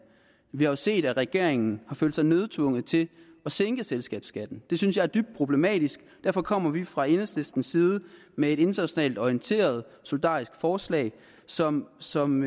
vi har jo set at regeringen har følt sig nødsaget til at sænke selskabsskatten det synes jeg er dybt problematisk derfor kommer vi fra enhedslistens side med et internationalt orienteret solidarisk forslag som som